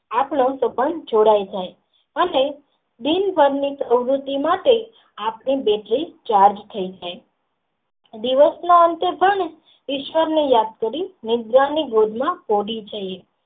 આપણા સંબંન જોડ્ય જાય છે અને બિન માટે આપણી બેટરી ચાર્જ થઇ જાય છે દિવસ ના અંતે પણ ઈશ્વર ને યાદ કરી પોઢિ જઇયે છીએ.